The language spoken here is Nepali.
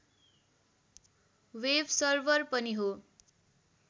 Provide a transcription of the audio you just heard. वेब सर्भर पनि हो